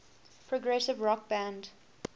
progressive rock band